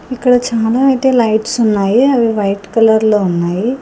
ఇక్కడ చాలా అయితే లైట్స్ ఉన్నాయి. అవి వైట్ కలర్లో ఉన్నాయి.